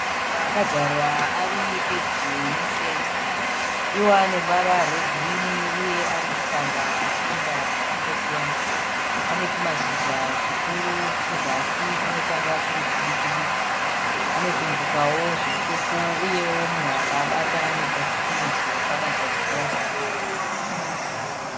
Maruva akadyarwa ari pedyo nefenzi. Iwo ane ruvara rwegirini uye ari kutanda achienda kwakangosiyana. Ane twumashizha tukuru kuzasi twunotanga twuri twudiki-diki. Anotumbukawo zvitsvuku uyewo munhu akaabata anoita sekunonzi sewakabata chipurasitiki.